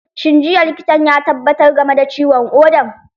Shin jiya likitan ya tabbatar game da ciwon ƙodan?